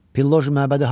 Pilloji məbədi haradır?